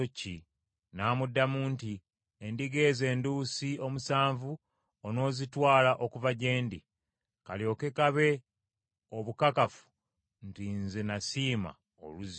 N’amuddamu nti, “Endiga ezo enduusi omusanvu onoozitwala okuva gye ndi kalyoke kabe obukakafu nti nze nasima oluzzi olwo.”